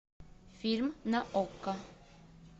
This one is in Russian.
фильм на окко